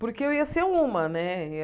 Porque eu ia ser uma, né?